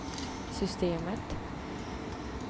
systemet